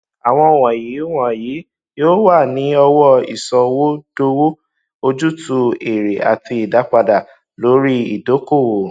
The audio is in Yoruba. àwọn wọnyí wọnyí yóò wà ní ọwọ ìsọdowó ojútùú èrè àti ìdápadà lórí ìdókòwò